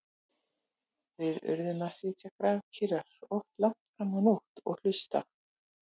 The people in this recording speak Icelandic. Við urðum að sitja grafkyrrar, oft langt fram á nótt- og hlusta.